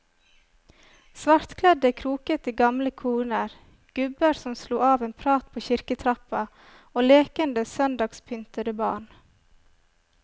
Svartkledde krokete gamle koner, gubber som slo av en prat på kirketrappa og lekende søndagspyntede barn.